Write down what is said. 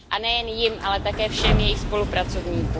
A nejen jim, ale také všem jejich spolupracovníkům.